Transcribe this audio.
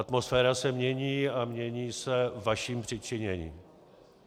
Atmosféra se mění a mění se vaším přičiněním.